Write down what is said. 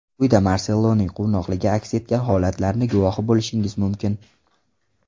Quyida Marseloning quvnoqligi aks etgan holatlarni guvohi bo‘lishingiz mumkin.